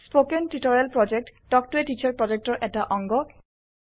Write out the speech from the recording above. spoken tutorial প্ৰকল্প talk to a teacher প্ৰকল্পৰ এটা অংগ